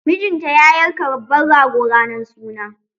Mijinta ya yanka babban rago ranar suna.